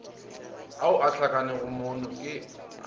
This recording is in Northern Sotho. ao a hlakanego moono ke